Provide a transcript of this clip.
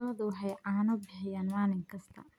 Lo'du waxay caano bixiyaan maalin kasta.